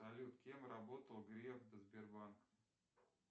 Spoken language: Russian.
салют кем работал греф до сбербанка